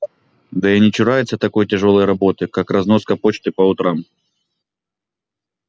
да и не чурается такой тяжёлой работы как разноска почты по утрам